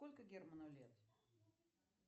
сколько герману лет